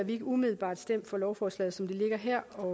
ikke umiddelbart stemt for lovforslaget som det ligger her og